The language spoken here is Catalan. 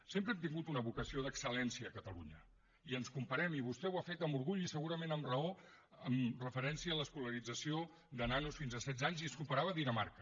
sempre hem tingut una vocació d’excel·lència a catalunya i ens comparem i vostè ho ha fet amb orgull i segurament amb raó amb referència a l’escolarització de nanos fins a setze anys i es comparava amb dinamarca